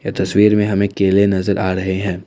ये तस्वीर में हमें केले नजर आ रहे हैं।